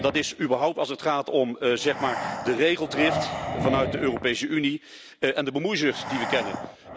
Dat is überhaupt zo als het gaat om, zeg maar, de regeldrift vanuit de Europese Unie en de bemoeizucht die we kennen.